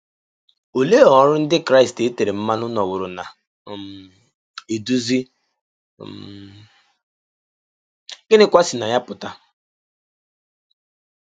Olee ọrụ Ndị Kraịst e tere mmanụ nọworo na um - eduzi um, gịnịkwa si na ya pụta?